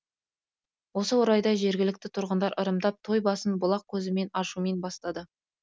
осы орайда жергілікті тұрғындар ырымдап той басын бұлақ көзін ашумен бастады